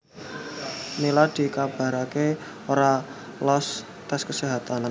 Nila dikabaraké ora loos tes keséhatan